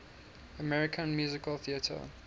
american musical theatre